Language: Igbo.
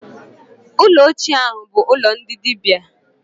Ụlọ ochie ahụ bụ ụlọ ndị dibịa.